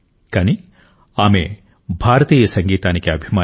కానీ ఆమె భారతీయ సంగీతానికి అభిమాని